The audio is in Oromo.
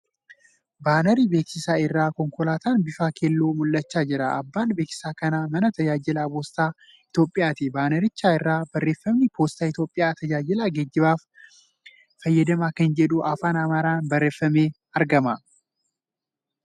Baanarii beeksisaa irra konkolaataan bifa keelloo mul'achaa jira. Abbaan beeksisa kanaa mana tajaajila poostaa Itiyoophiyaati. Baanaricha irraa barreeffamni ' Poostaa Itiyoophiyaa tajaajila geejjibaan fayyadamaa ' kan jedhu afaan Amaaraan barreeffamee argama.